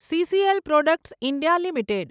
CCl products India limited